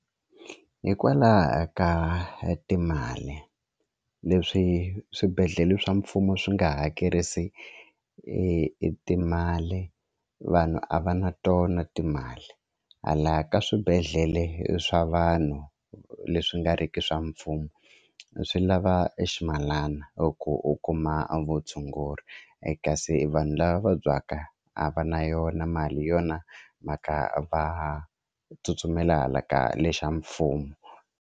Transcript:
Hikwalaho ka timali leswi swibedhlele swa mfumo swi nga hakerisi e timali vanhu a va na tona timali hala ka swibedhlele swa vanhu leswi nga riki swa mfumo swi lava e ximalana ku u kuma vutshunguri kasi vanhu lava vabyaka a va na yona mali hi yona mhaka va ha tsutsumela hala ka lexa mfumo.